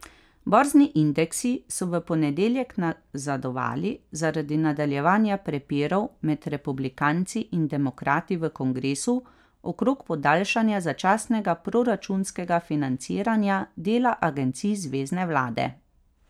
Borzni indeksi so v ponedeljek nazadovali zaradi nadaljevanja prepirov med republikanci in demokrati v kongresu okrog podaljšanja začasnega proračunskega financiranja dela agencij zvezne vlade.